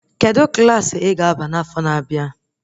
Kedụ Klassị I ga-aba n'afọ na-abịa?